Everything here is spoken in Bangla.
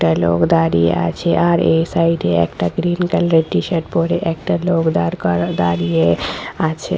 একটা লোক দাঁড়িয়ে আছে আর এই সাইড এ একটা গ্রিন কালার এর টিশার্ট পরে একটা লোক দাঁড় করা - দাঁড়িয়ে আছে।